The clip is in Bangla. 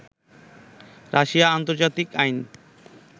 রাশিয়া আন্তর্জাতিক আইন